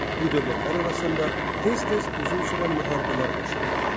Bu dövlətlər arasında tez-tez uzun sürən müharibələr baş verirdi.